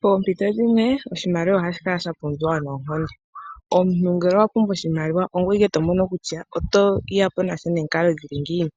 Poompito dhimwe oshimaliwa ohashi kala sha pumbiwa noonkondo. Omuntu ngele owa pumbwa oshimaliwa ongoye ike to mono kutya oto ya po nasho nomikalo dhili ngiini.